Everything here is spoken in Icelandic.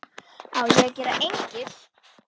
Á ég að gera engil?